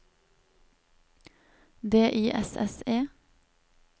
D I S S E